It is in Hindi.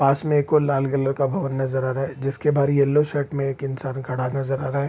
पास में एक और लाल कलर का भवन नज़र आ रहा है जिसके बाहर येलो शर्ट में इंसान खड़ा नज़र आ रहा है।